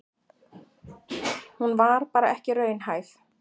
Hún var bara ekki raunhæf.